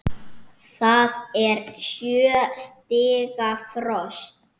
Það er sjö stiga frost!